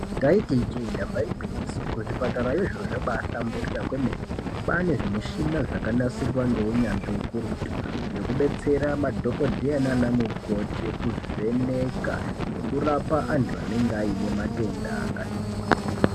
Taiti ijee damba igwinyiso kuzvipatarayo zviro zvabahlamburika kwemene kwane zvimushina zvakanasirwa ngeunyanzvi ukurutu zvekubetsera madhokoteya nana mukoti zvekuvheneka antu anenge aine matenda akati kuti.